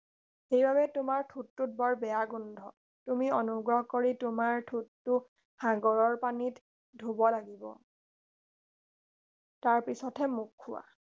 সেইবাবে তোমাৰ ঠোঁটটোত বৰ বেয়া গোন্ধ তুমি অনুগ্ৰহ কৰি তোমাৰ ঠোঁটটো সাগৰৰ পানীত ধুব লাগিব তাৰ পিছতহে মোক খোৱা